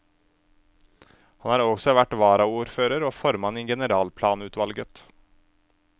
Han har også vært varaordfører og formann i generalplanutvalget.